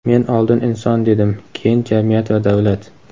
Men oldin "inson" dedim, keyin "jamiyat va davlat".